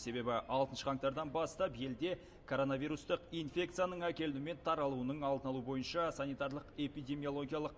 себебі алтыншы қаңтардан бастап елде коронавирустық инфекцияның әкелінуі мен таралуының алдын алу бойынша санитарлық эпидемиологиялық